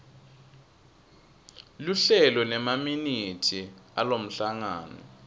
luhlelo nemaminithi alomhlangano